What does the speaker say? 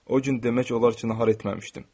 O gün demək olar ki, nahar etməmişdim.